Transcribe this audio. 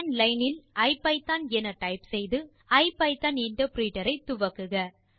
command line இல் IPython என type செய்து ஐபிதான் இன்டர்பிரிட்டர் ஐ துவக்குக